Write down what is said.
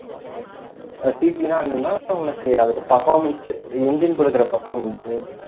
CC ன்னா என்னன்னா உனக்கு அதோட performance engine குடுக்குற performance